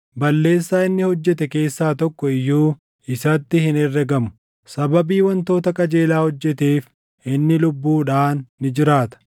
Balleessaa inni hojjete keessaa tokko iyyuu isatti hin herregamu. Sababii wantoota qajeelaa hojjeteef inni lubbuudhaan ni jiraata.